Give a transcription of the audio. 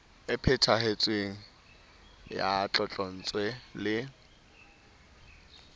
e phethahetseng ya tlotlontswe le